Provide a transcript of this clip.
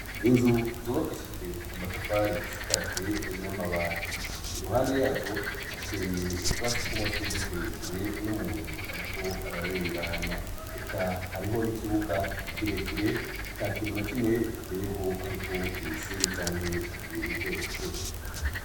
Inzu zubakishijwe amatafari zisakajwe n'amabati i ruhande yazo hateye utwasitsw'amashurwi tureture n'umuntu, ariko ararengana eka hariho n'ikibuga kirekire kitakinuna kimwe giteyeho hariko imisenyi icanke utubuye duto gito.